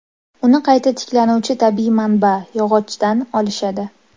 Uni qayta tiklanuvchi tabiiy manba – yog‘ochdan olishadi.